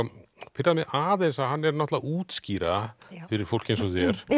pirraði mig aðeins að hann er að útskýra fyrir fólki eins og þér